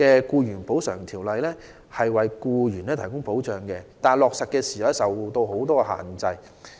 雖然現行《條例》為僱員提供保障，但在落實的過程中卻受到諸多限制。